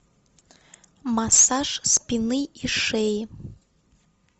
массаж спины и шеи